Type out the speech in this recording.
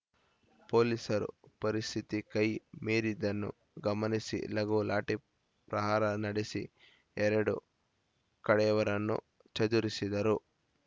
ಪೊಲೀಸರು ಪರಿಸ್ಥಿತಿ ಕೈ ಮೀರಿದ್ದನ್ನು ಗಮನಿಸಿ ಲಘು ಲಾಠಿ ಪ್ರಹಾರ ನಡೆಸಿ ಎರಡೂ ಕಡೆಯವರನ್ನು ಚದುರಿಸಿದರು